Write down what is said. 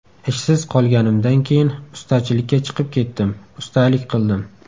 Ishsiz qolganimdan keyin ustachilikka chiqib ketdim, ustalik qildim.